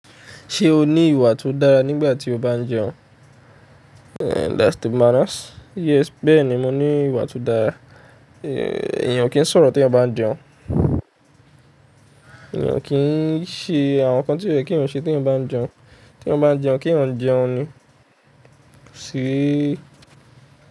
Ṣé o ní ìwà tó dára nígbà tí o bá ń jẹun? That's the manners. Yes, bẹ́ẹ̀ ni mo ní ìwà tó dára. Ẹ̀yàn kì í sọ̀rọ̀ tí eyán bá ń jẹun, ẹ̀yàn kì í ṣe àwọn nǹkan tí kóò ye kí eyán ṣe tí eyán bá ń jẹun. Tí eyán bá ń jẹun, kí eyán jẹun ni. Sí i.